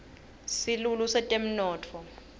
silulu setemnotfo